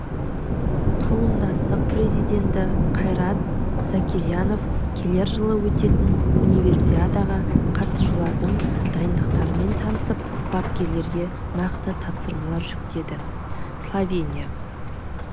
қауымдастық президенті қайрат закирянов келер жылы өтетін универсиадаға қатысушылардың дайындықтарымен танысып бапкерлерге нақты тапсырмалар жүктеді словения